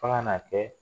F'a ka na kɛ